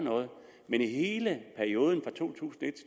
men i hele perioden to